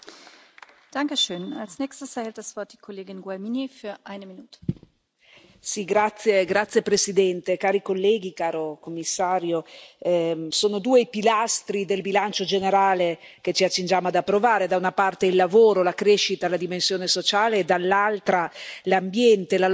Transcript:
Signora Presidente, onorevoli colleghi, signor Commissario, sono due i pilastri del bilancio generale che ci accingiamo ad approvare, da una parte il lavoro, la crescita, la dimensione sociale, e dall'altra l'ambiente, la lotta al cambiamento climatico.